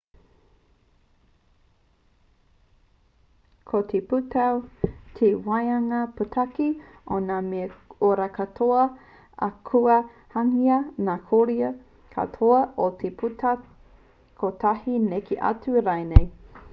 ko te pūtau te waehanga pūtake o ngā mea ora katoa ā kua hangaia ngā koiora katoa i te pūtau kotahi neke atu rānei